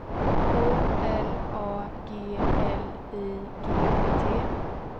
O L A G L I G T